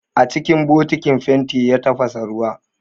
A cikin bokitin fenti ya tafasa ruwa